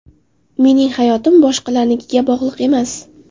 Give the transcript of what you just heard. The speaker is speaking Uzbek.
Mening hayotim boshqalarnikiga bog‘liq emas.